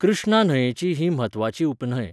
कृष्णा न्हंयेची ही म्हत्वाची उपन्हंय.